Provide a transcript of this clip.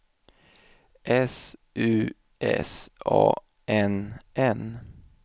S U S A N N